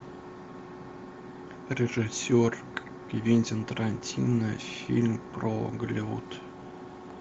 режиссер квентин тарантино фильм про голливуд